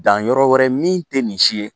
Danyɔrɔ wɛrɛ min tɛ nin si ye